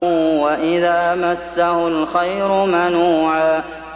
وَإِذَا مَسَّهُ الْخَيْرُ مَنُوعًا